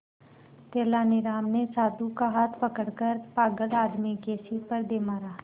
तेनालीराम ने साधु का हाथ पकड़कर पागल आदमी के सिर पर दे मारा